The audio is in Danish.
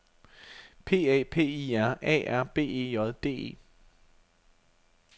P A P I R A R B E J D E